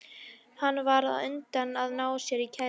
Hann varð þá á undan að ná sér í kærustu.